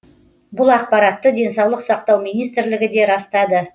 бұл ақпаратты денсаулық сақтау министрлігі де растады